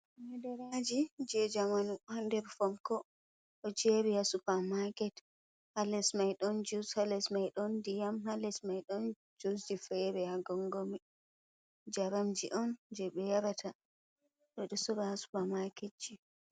Madaraaji jei njaramji on ɗo jeeri haa nder fonko haa supermarket, haa les mai ɗon jus ha les mai ɗon ndiyam haa les mai ɗon jusji feere-feere haa gongo, jaramji on jey ɓe yarata ɗo suudu supermarketji.